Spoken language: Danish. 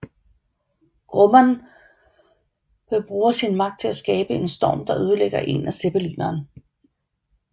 Grumman bruger sin magt til at skabe en storm der ødelægger en af zeppelineren